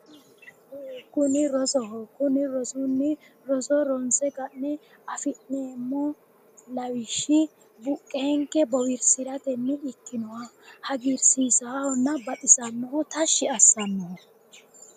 Kuni rosoho kuni rosunni roso ronse ka'ne afi'neemmo lawishshi buqqeenke boowirsiratenni ikkinoha hagiirsiisaahonna baxisaaho tashshi assannoho